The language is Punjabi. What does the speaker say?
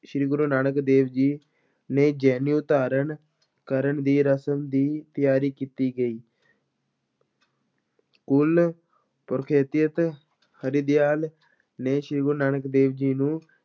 ਸ੍ਰੀ ਗੁਰੂ ਨਾਨਕ ਦੇਵ ਜੀ ਨੇ ਜਨੇਊ ਧਾਰਨ ਕਰਨ ਦੀ ਰਸਮ ਦੀ ਤਿਆਰੀ ਕੀਤੀ ਗਈ ਕੁਲ ਹਰਦਿਆਲ ਨੇ ਸ਼੍ਰੀ ਗੁਰੂ ਨਾਨਕ ਦੇਵ ਜੀ ਨੂੰ